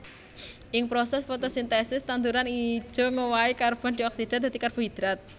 Ing prosès fotosintesis tanduran ijo ngowahi karbon dioksida dadi karbohidrat